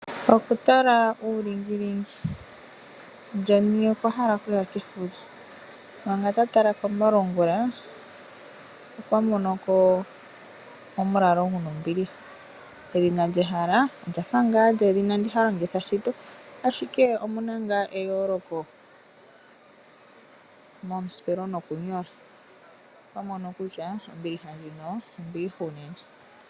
Okutala uulingilingi John okwa hala okuya kefudho, manga ta tala komalungula okwa mono ko omulalo gu na ombiliha. Edhina lyehala olya fa lyedhina ndi ha longitha shito, ashike omu na ngaa eyooloko mesipelo nomokunyola. Okwa mono kutya ombiliha ndjino ombiliha unene.